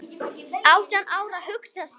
Átján ára, hugsa sér!